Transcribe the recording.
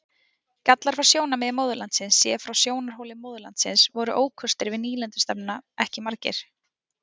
Gallar frá sjónarmiði móðurlandsins Séð frá sjónarhóli móðurlandsins voru ókostir við nýlendustefnuna ekki margir.